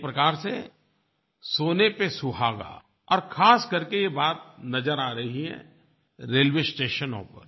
एक प्रकार से सोने पे सुहागा और ख़ास करके ये बात नज़र आ रही है रेलवे स्टेशनों पर